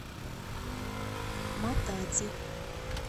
матади